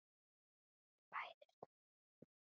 Bæði stóra og smáa.